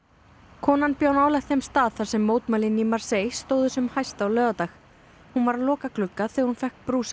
konan bjó nálægt þeim stað þar sem mótmælin í Marseille stóðu sem hæst á laugardag hún var að loka glugga þegar hún fékk brúsann